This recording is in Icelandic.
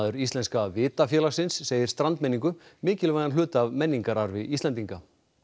Íslenska segir strandmenningu mikilvægan hluta af menningararfi Íslendinga